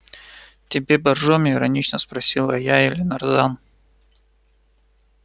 тебе боржоми иронично спросила я или нарзан